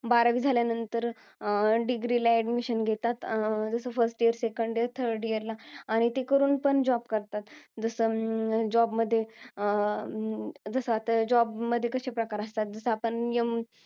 बारावी झाल्यानंतर अं degree ला admission घेतात. अं जसं first year, second year, third year ला. आणि ते करून पण job करतात. जसं, अं job मध्ये, आह अं जसं आता job मध्ये कसे प्रकार असतात, जसं आपण यम,